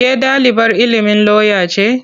Ke ɗalibar ilimin lauya ce?